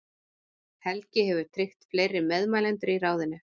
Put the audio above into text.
Helgi hefur tryggt fleiri meðmælendur í ráðinu.